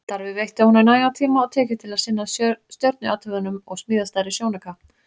Starfið veitti honum nægan tíma og tekjur til að sinna stjörnuathugunum og smíða stærri sjónauka.